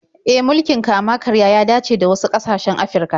E, mulkin kama-karya ya dace da wasu ƙasashen Afirka.